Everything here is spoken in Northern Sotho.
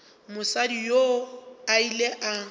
mosadi yoo o ile a